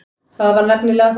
Það var nefnilega það.